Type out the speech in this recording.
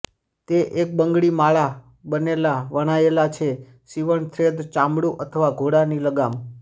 તે એક બંગડી માળા બનેલા વણાયેલા છે સીવણ થ્રેડ ચામડું અથવા ઘોડાની લગામ